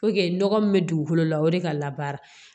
nɔgɔ min bɛ dugukolo la o de ka labaara